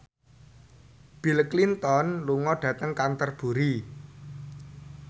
Bill Clinton lunga dhateng Canterbury